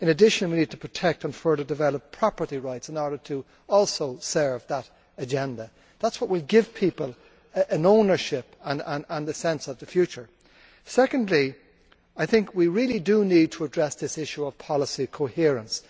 In addition, we need to protect and further develop property rights in order to also serve that agenda. That is what we will give people an ownership, and a sense of the future. Secondly, we really do need to address the issue of policy coherence.